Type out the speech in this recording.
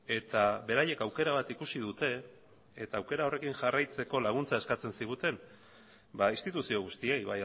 eta beraiek aukera bat ikusi dute eta aukera horrekin jarraitzeko laguntza eskatzen ziguten instituzio guztiei